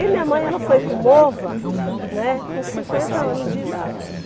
E minha mãe, ela foi para o Mova, né, com cinquenta anos de idade.